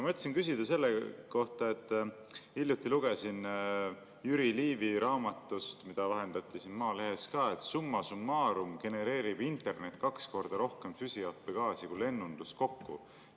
Ma mõtlesin küsida selle kohta, et hiljuti lugesin Jüri Liivi raamatust, mida vahendati ka Maalehes, et summa summarum genereerib internet kaks korda rohkem süsihappegaasi kui lennundus kokku.